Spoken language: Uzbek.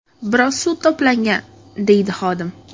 Biroz suv to‘plangan”, deydi xodim.